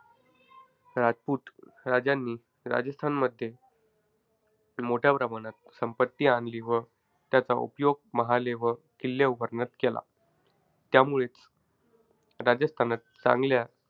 राजपूत राजांनी, राजस्थानमध्ये, मोठ्या प्रमाणात संपत्ती आणली व त्याचा उपयोग महाले व किल्ले उभारण्यात केला. त्यामुळेच, राजस्थानात चांगल्या,